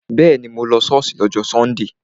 Bẹ́ẹ̀ni, mo lọ ṣọ́ọ̀ṣì lọ́jọ́ sọ́ndè